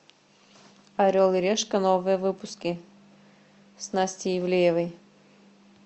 орел и решка новые выпуски с настей ивлеевой